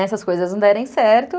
Essas coisas não derem certo.